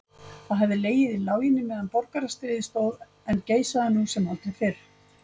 Það hafði legið í láginni meðan borgarastríðið stóð en geisaði nú sem aldrei fyrr.